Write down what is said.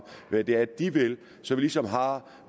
hvad det er de vil så vi ligesom har